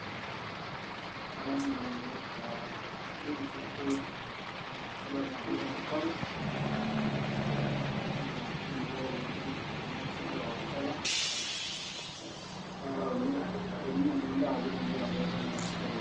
ekadamu nanu ee drink ashu suda naoki cocacola ee naa kemelok oleng pii ena suda e cocacola es teninyia ninye endaa piitumoki atooko naa kisidai oleng.